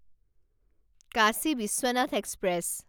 Kashi Vishwanath express